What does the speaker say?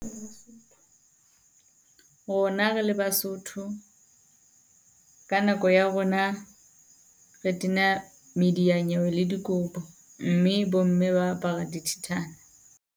Rona re le Basotho ka nako ya rona re tena mediya nyewe le dikobo, mme bo mme ba apara dithithana.